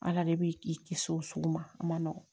Ala de b'i i kisi o sugu ma a ma nɔgɔn